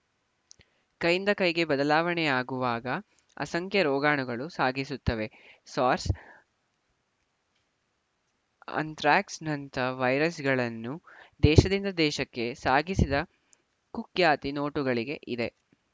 ಕೈಯಿಂದ ಕೈಗೆ ಬದಲಾವಣೆಯಾಗುವಾಗ ಅಸಂಖ್ಯ ರೋಗಾಣುಗಳನ್ನು ಸಾಗಿಸುತ್ತವೆ ಸಾರ್ಸ್‌ ಅಂಥ್ರಾಕ್ಸ್‌ನಂಥ ವೈರಸ್‌ಗಳನ್ನು ದೇಶದಿಂದ ದೇಶಕ್ಕೆ ಸಾಗಿಸಿದ ಕುಖ್ಯಾತಿ ನೋಟುಗಳಿಗೆ ಇದೆ